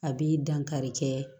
A bi dankari kɛ